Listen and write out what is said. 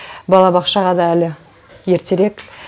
балабақшаға да әлі ертерек